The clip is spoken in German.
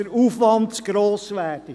Der Aufwand werde zu gross.